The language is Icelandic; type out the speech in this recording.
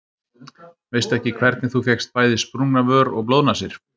Veistu ekki hvernig þú fékkst bæði sprungna vör og blóðnasir.